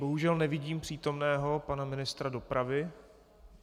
Bohužel nevidím přítomného pana ministra dopravy.